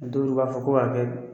Don don u b'a fɔ ko ka kɛ bi.